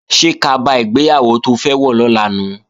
Ṣé kaba ìgbéyàwó to fẹ́ wọ̀ lọ́la nu?